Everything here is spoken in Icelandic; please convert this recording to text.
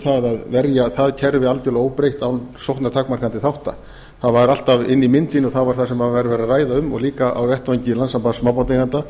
það að verja það kerfi algjörlega óbreytt án sóknartakmarkandi þátta það var alltaf inni í myndinni og það var það sem var verið að ræða um og líka á vettvangi landssambands smábátaeigenda